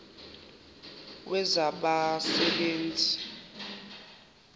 wezabasebenzi